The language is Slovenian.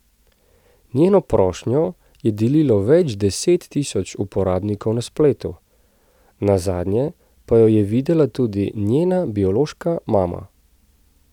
Njeno prošnjo je delilo več deset tisoč uporabnikov na spletu, nazadnje pa jo je videla tudi njena biološka mama.